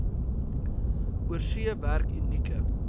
oorsee werk unieke